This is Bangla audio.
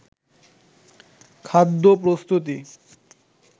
খাদ্য প্রস্তুতি